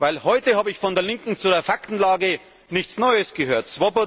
Denn heute habe von der Linken zur Faktenlage nichts Neues gehört.